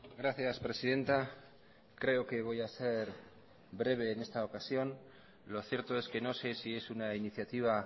gracias presidenta creo que voy a ser breve en esta ocasión lo cierto es que no sé si es una iniciativa